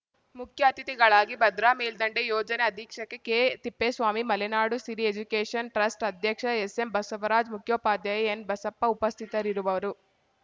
ಮುಖ್ಯ ಅತಿಥಿಗಳಾಗಿ ಭದ್ರಾ ಮೇಲ್ಡಂಡೆ ಯೋಜನೆ ಅಧೀಕ್ಷಕ ಕೆತಿಪ್ಪೇಸ್ವಾಮಿ ಮಲೆನಾಡು ಸಿರಿ ಎಜುಕೇಶನ್‌ ಟ್ರಸ್ಟ್‌ ಅಧ್ಯಕ್ಷ ಎಸ್‌ಎಂ ಬಸವರಾಜ್‌ ಮುಖ್ಯೋಪಾಧ್ಯಾಯ ಎನ್‌ಬಸಪ್ಪ ಉಪಸ್ಥಿತರಿರುವರು